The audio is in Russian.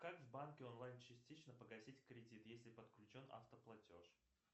как в банке онлайн частично погасить кредит если подключен автоплатеж